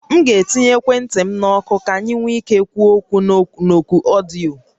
M ga-akwụ ụgwọ ekwentị m ka anyị nwee ike ikwu okwu na oku ọdịyo